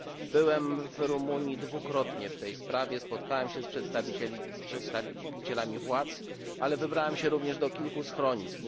Byłem w Rumunii dwukrotnie w tej sprawie, spotkałem się z przedstawicielami władz, ale wybrałem się również do kilku schronisk.